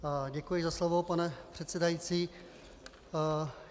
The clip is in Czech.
Děkuji za slovo, pane předsedající.